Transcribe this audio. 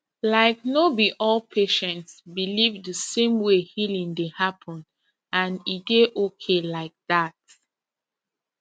like no be all patients believe the same way healing dey happen and e dey okay like that